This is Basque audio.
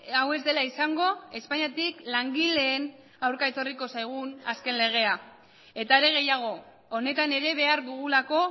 hau ez dela izango espainiatik langileen aurka etorriko zaigun azken legea eta are gehiago honetan ere behar dugulako